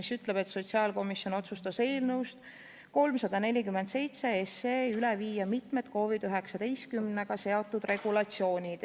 See ütleb, et sotsiaalkomisjon otsustas eelnõust 347 üle viia mitmed COVID-19-ga seotud regulatsioonid.